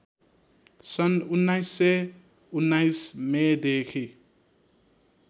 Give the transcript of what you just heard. सन् १९१९ मेदेखि